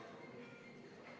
Aitäh, hea esimees!